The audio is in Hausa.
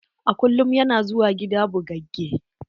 A kullum ya na zuwa gida bugagge.